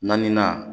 Naaninan